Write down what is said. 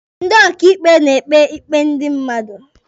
Ndị ọkàikpe na-ekpe ikpe ndị mmadụ.